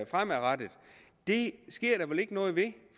fremadrettet det sker der vel ikke noget ved